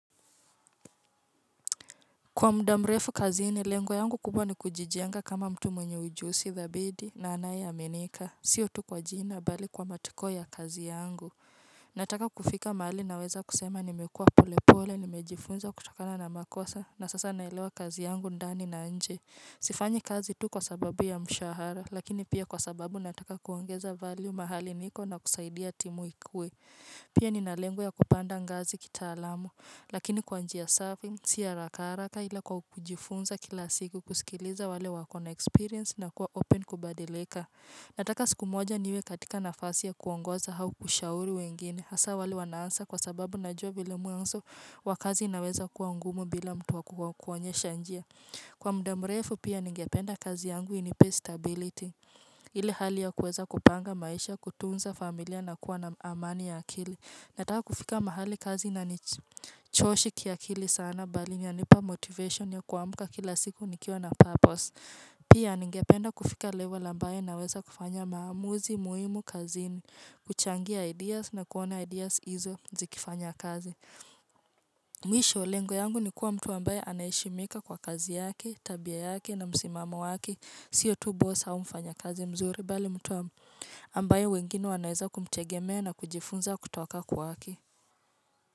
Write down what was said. Kwa muda mrefu kazi ni lengwa yangu kubwa ni kujijenga kama mtu mwenye ujusi thabidi na anaye amenika Sio tu kwa jina bali kwa matiko ya kazi yangu. Nataka kufika mali naweza kusema nimekua pole pole nimejifunza kutokana na makosa na sasa nailewa kazi yangu ndani na nje Sifanyi kazi tu kwa sababu ya mshahara lakini pia kwa sababu nataka kuongeza value mahali niko na kusaidia timu ikwe Pia ni nalengu ya kupanda ngazi kitaalamu, lakini kwa njia safi, siharakaraka ila kwa kujifunza kila siku kusikiliza wale wakona experience na kuwa open kubadileka. Nataka siku moja niwe katika nafasi ya kuongoza hau kushauri wengine, hasa wale wanaansa kwa sababu najua vile mwanzo wakazi inaweza kuwa ngumu bila mtuwa kukuanyesha njia. Kwa mude mrefu pia ningependa kazi yangu ini pay stability Ili hali ya kuweza kupanga maisha kutunza familia na kuwa na amani ya akili Nataka kufika mahali kazi na nichoshi kiakili sana bali nyanipa motivation ya kuamuka kila siku nikio na purpose Pia ningependa kufika level ambaye na weza kufanya maamuzi, muhimu, kazini, kuchangia ideas na kuona ideas hizo zikifanya kazi Mwisho, lengo yangu ni kuwa mtu ambaye anayishimika kwa kazi yaki, tabia yaki na msimama waki sio tu bosa mfanya kazi mzuri, bali mtu ambaye wengine wanaeza kumtegemeo na kujifunza kutoka kwa aki.